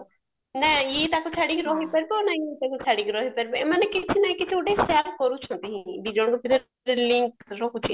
ନାଁ ଇଏ ତାକୁ ଛାଡିକି ରହିପାରିବ ନାଁ ଇଏ ତାକୁ ଛାଡିକି ରହିପାରିବ ଏମାନେ କିଛି ନା କିଛି ଗୋଟେ share କରୁଛନ୍ତି ଦିଜଣଙ୍କ ଭିତରେ ଗୋଟେ link ରହୁଚି